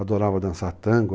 Adorava dançar tango.